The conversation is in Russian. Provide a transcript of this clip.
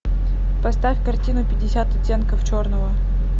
поставь картину пятьдесят оттенков черного